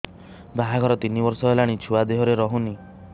ବାହାଘର ତିନି ବର୍ଷ ହେଲାଣି ଛୁଆ ଦେହରେ ରହୁନି